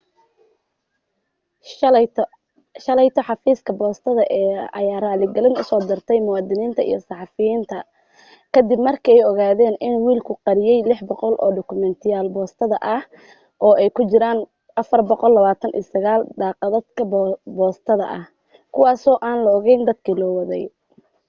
shalayto xafiiska boostada ayaa raaligelin u soo diray muwaadiniinta iyo saxaafadda ka dib markay ogaadeen in wiilku qariyay 600 oo dukumeentiyada boostada ah oo ay ku jiraan 429 kaadhadhka boostada ah kuwaasoo aan loo geyn dadkii loo waday